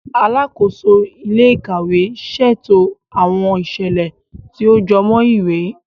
Alàkóso ilé-íkàwe ṣètò awọn iṣẹlẹ tí o jọmọ ìwé.